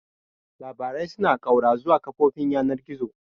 Labarai suna ƙaura zuwa kafofin yanar gizo.